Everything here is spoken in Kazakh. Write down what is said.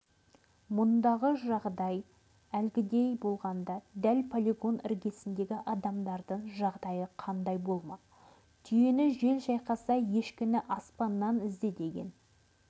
мұндағы жағдай әлгіндей болғанда дәл полигон іргесіндегі адамдардың жағдайы қандай болмақ түйені жел шайқаса ешкіні аспаннан ізде деген